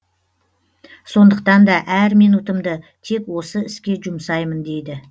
сондықтан да әр минутымды тек осы іске жұмсаймын дейді